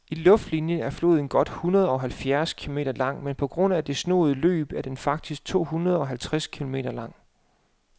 I luftlinie er floden godt hundredeoghalvfjerds kilometer lang, men på grund af det snoede løb er den faktisk tohundredeoghalvtreds kilometer lang.